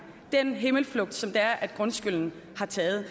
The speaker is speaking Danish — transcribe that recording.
den himmelflugt som grundskylden har taget